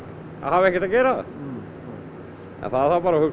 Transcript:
að hafa ekkert að gera en það þarf bara að huga